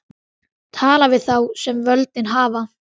Tala við þá sem völdin hafa.